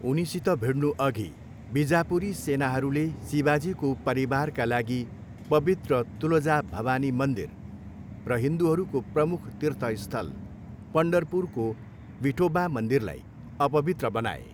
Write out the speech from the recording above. उनीसित भिड्नुअघि, बिजापुरी सेनाहरूले शिवाजीको परिवारका लागि पवित्र तुलजा भवानी मन्दिर र हिन्दूहरूको प्रमुख तीर्थस्थल पन्डरपुरको विठोबा मन्दिरलाई अपवित्र बनाए।